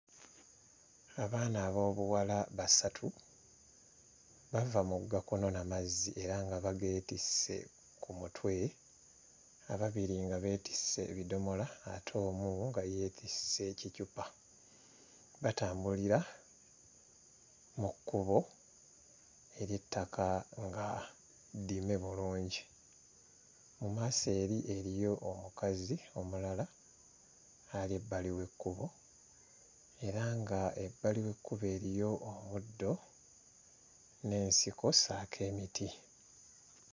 Abaana ab'obuwala basatu bava mugga kunona mazzi era nga bageetisse ku mutwe ababiri nga beetisse ebidomola ate omu nga yeetisse kicupa, batambulira mu kkubo ery'ettaka nga ddime bulungi. Mu maaso eri eriyo omukazi omulala ali bbali w'ekkubo era nga ebbali w'ekkubo eriyo omuddo n'ensiko ssaako emiti.